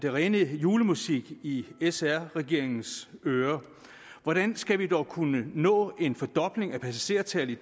ren julemusik i sr regeringens ører for hvordan skal vi dog kunne nå en fordobling af passagertallet i